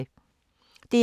DR1